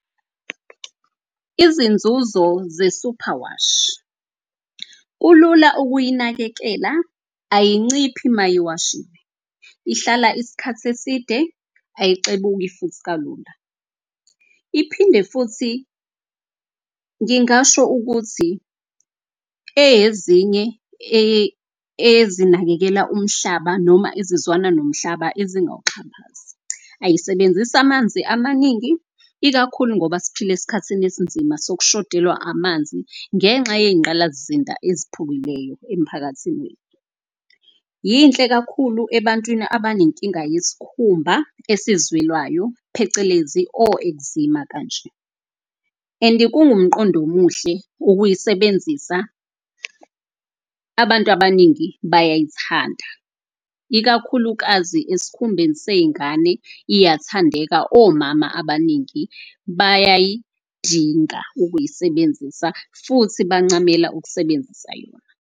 Izinzuzo ze-superwash, kulula ukuyinakekela, ayinciphi mayiwashiwe. Ihlala isikhathi eside, ayixebuki futhi kalula. Iphinde futhi ngingasho ukuthi eyezinye ezinakekela umhlaba noma izizwana nomhlaba ezingawuxhaphazi. Ayisebenzisi amanzi amaningi, ikakhulu ngoba siphila esikhathini esinzima sokushodelwa amanzi ngenxa yeyingqalasizinda eziphukileyo emphakathini. Yinhle kakhulu ebantwini abanenkinga yesikhumba esizwelwayo phecelezi o-eczema kanje. And-i kungumqondo omuhle ukuyisebenzisa, abantu abaningi bayayithanda. Ikakhulukazi eskhumbeni seyingane iyathandeka, omama abaningi bayayidinga ukuyisebenzisa futhi bancamela ukusebenzisa yona.